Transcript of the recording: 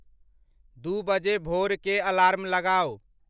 दू बजे भोर के अलार्म लगाउ।